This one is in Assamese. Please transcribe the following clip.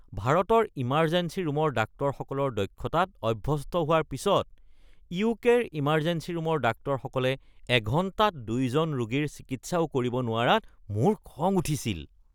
ভাৰতৰ ইমাৰজেঞ্চী ৰুমৰ ডাক্তৰসকলৰ দক্ষতাত অভ্যস্ত হোৱাৰ পিছত, ইউ.কে.-ৰ ইমাৰজেঞ্চী ৰুমৰ ডাক্তৰসকলে এঘণ্টাত ২ জন ৰোগীৰ চিকিৎসাও কৰিব নোৱাৰাত মোৰ খং উঠিছিল।